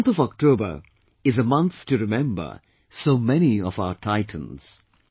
The month of October is a month to remember so many of our titans